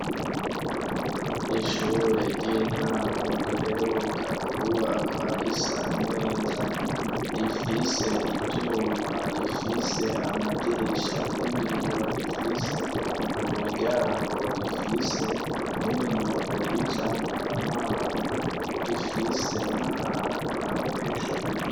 Ishure ry'intango riheruka kubakwa risa neza rifise ivyuma rifise amadirisha y'ibiyo rifise umuryango rifise n'ibinogo bijamu amazi rifise naa bantu abanyeshuri.